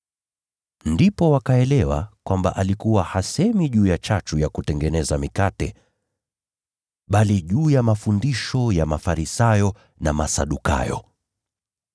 Ndipo wakaelewa kwamba alikuwa hasemi juu ya chachu ya kutengeneza mikate, bali juu ya mafundisho ya Mafarisayo na Masadukayo.